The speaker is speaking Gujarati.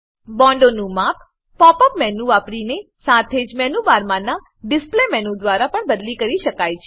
બોન્ડોનું માપ પોપ અપ મેનુ વાપરીને સાથે જ મેનુ બારમાનાં ડિસ્પ્લે મેનુ દ્વારા પણ બદલી કરી શકાય છે